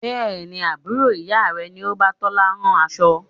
Bẹ́ẹ̀ni, Àbúrò ìyá rẹ ni o bá Tola rán aṣọ.